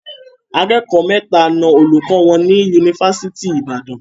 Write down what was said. Akẹ́kọ̀ọ́ mẹ́ta na olùkọ́ wọn ní Yunifásitì Ìbàdàn.